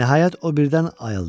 Nəhayət o birdən ayıldı.